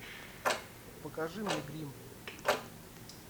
покажи мне гримм